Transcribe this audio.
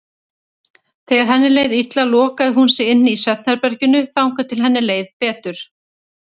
Þegar henni leið illa lokaði hún sig inni í svefnherberginu þangað til henni leið betur.